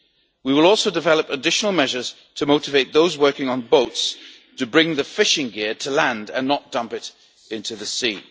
We will also develop additional measures to motivate those working on boats to bring the fishing gear to land and not dump it into the sea.